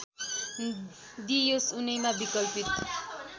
दिइयोस् उनैमा विकल्पित